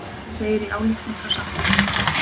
Þetta segir í ályktun frá samtökunum